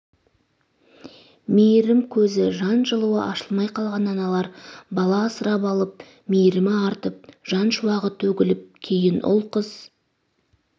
мейірім көзі жан жылуы ашылмай қалған аналар бала асырап алып мейірімі артып жан шуағы төгіліп кейін ұл қыз